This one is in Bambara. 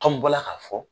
n bɔra k'a fɔ